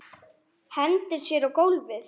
Hendir sér á gólfið.